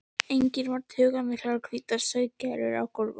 Einnig eru togmiklar og hvítar sauðargærur á gólfum.